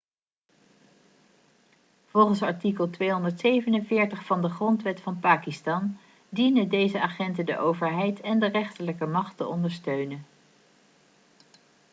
volgens artikel 247 van de grondwet van pakistan dienen deze agenten de overheid en de rechterlijke macht te ondersteunen